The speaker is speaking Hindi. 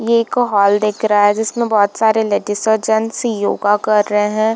ये एक हॉल दिख रहा है जिसमे बोहत सारे लेडीज और गेट्स योगा कर रहे हैं।